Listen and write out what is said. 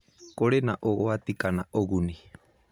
Kũrĩ na ũgwati kana ũgũnĩ?